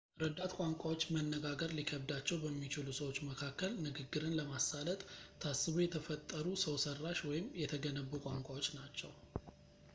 ረዳት ቋንቋዎች መነጋገር ሊከብዳቸው በሚችሉ ሰዎች መካከል ንግግርን ለማሳለጥ ታስበው የተፈጠሩ ሰውሰራሽ ወይም የተገነቡ ቋንቋዎች ናቸው